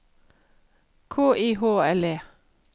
K I H L E